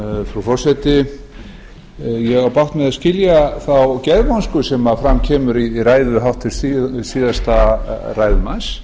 frú forseti ég á bágt með að skilja þá geðvonsku sem fram kemur í ræðu háttvirts síðasta ræðumanns